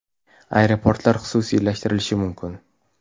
Aeroportlar xususiylashtirilishi mumkin .